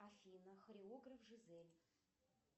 афина хореограф жизель